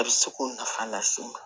A bɛ se k'o nafa lase n ma